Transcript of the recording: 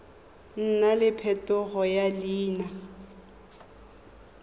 nna le phetogo ya leina